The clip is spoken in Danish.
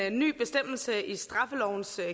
en ny bestemmelse i straffelovens